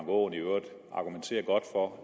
aaen i øvrigt argumenterer godt for